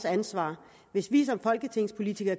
ansvar hvis vi som folketingspolitikere